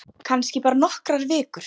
Kannski bara nokkrar vikur.